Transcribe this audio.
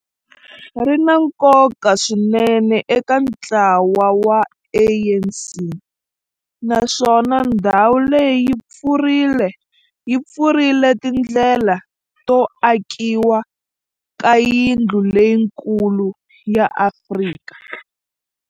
ri na nkoka swinene eka ntlawa wa ANC, naswona ndhawu leyi yi pfurile tindlela to akiwa ka yindlu leyikulu ya Afrika